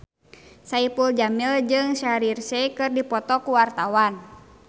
Saipul Jamil jeung Shaheer Sheikh keur dipoto ku wartawan